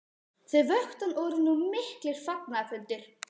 Þau vöktu hann og urðu nú miklir fagnaðarfundir.